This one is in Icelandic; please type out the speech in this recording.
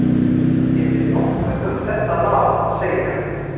Hef ég nokkuð um þetta mál að segja?